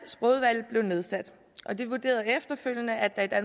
sprogudvalget blev nedsat de vurderede efterfølgende at at